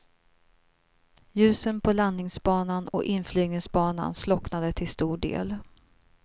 Ljusen på landningsbanan och inflygningsbanan slocknade till stor del.